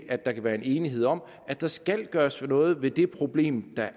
at der kan være enighed om at der skal gøres noget ved det problem der